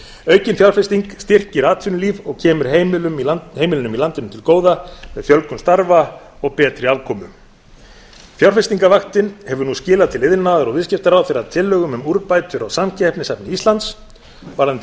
aukin fjárfesting styrkir atvinnulíf og kemur heimilum í landinu til góða með fjölgun starfa og betri afkomu fjárfestingarvaktin hefur nú skilað til iðnaðar og viðskiptaráðherra tillögum um úrbætur á samkeppnishæfni íslands varðandi